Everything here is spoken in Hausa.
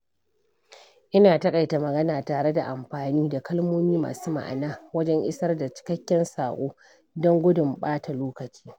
Ina taƙaita magana tare da amfani da kalmomi masu ma'ana wajen isar da cikakken saƙo don gudun ɓata lokaci.